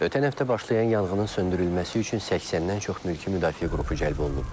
Ötən həftə başlayan yanğının söndürülməsi üçün 80-dən çox mülki müdafiə qrupu cəlb olunub.